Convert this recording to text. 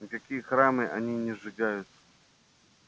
никакие храмы они не сжигают